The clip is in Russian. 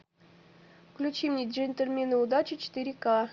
включи мне джентльмены удачи четыре ка